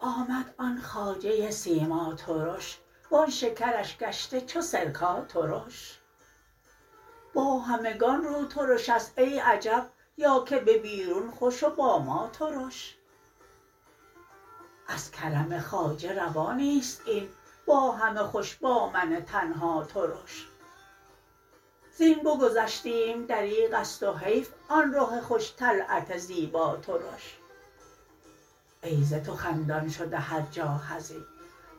آمد آن خواجه سیماترش وان شکرش گشته چو سرکا ترش با همگان روترش است ای عجب یا که به بیرون خوش و با ما ترش از کرم خواجه روا نیست این با همه خوش با من تنها ترش زین بگذشتیم دریغست و حیف آن رخ خوش طلعت زیبا ترش ای ز تو خندان شده هر جا حزین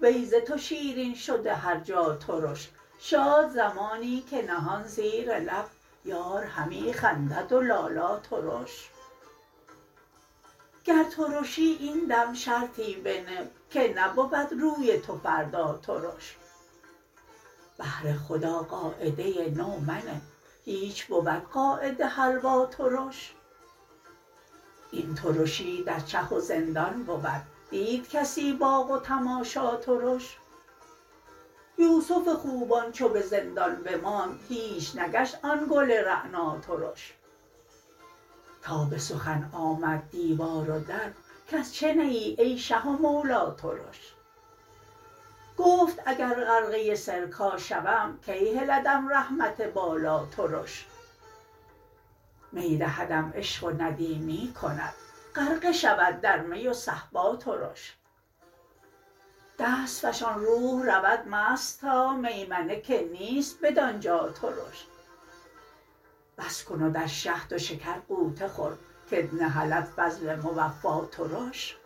وی ز تو شیرین شده هر جا ترش شاد زمانی که نهان زیر لب یار همی خندد و لالا ترش گر ترشی این دم شرطی بنه که نبود روی تو فردا ترش بهر خدا قاعده نو منه هیچ بود قاعده حلوا ترش این ترشی در چه و زندان بود دید کسی باغ و تماشا ترش یوسف خوبان چو به زندان بماند هیچ نگشت آن گل رعنا ترش تا به سخن آمد دیوار و در کز چه نه ای ای شه و مولا ترش گفت اگر غرقه سرکا شوم کی هلدم رحمت بالا ترش می دهدم عشق و ندیمی کند غرقه شود در می و صهبا ترش دست فشان روح رود مست تا میمنه که نیست بدان جا ترش بس کن و در شهد و شکر غوطه خور که ت نهلد فضل موفا ترش